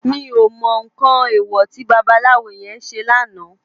Mi ó mò nkán éwò ti babalawo yèn sé làná